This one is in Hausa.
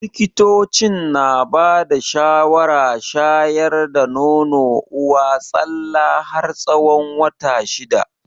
Likitocin na bada shawara shayar da nono uwa tsalla har tsawon wata shida.